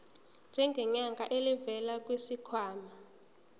ngenyanga elivela kwisikhwama